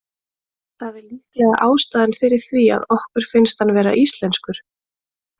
Það er líklega ástæðan fyrir því að okkur finnst hann vera íslenskur.